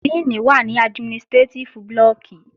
Díìnì wà ní administrétíf blọọ̀kì